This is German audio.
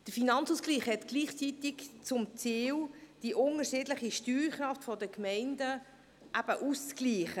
Der Finanzausgleich hat gleichzeitig das Ziel, die unterschiedliche Steuerkraft der Gemeinden auszugleichen.